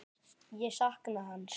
Ég sakna hans.